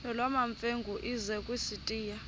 nolwamamfengu ize kusitiya